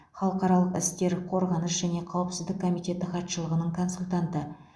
халықаралық істер қорғаныс және қауіпсіздік комитеті хатшылығының консультанты